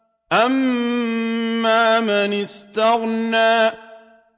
أَمَّا مَنِ اسْتَغْنَىٰ